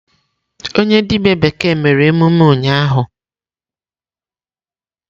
Onye dibia bekee mere emume ụnyahụ.